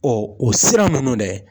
o sira ninnu dɛ.